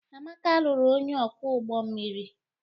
Amaka lụrụ onye ọkwọ ụgbọ mmiri.